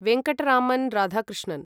Venkataraman Radhakrishnan